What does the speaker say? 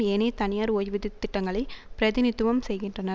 ஏனைய தனியார் ஓய்வூதிய திட்டங்களைப் பிரதிநிதித்துவம் செய்கின்றன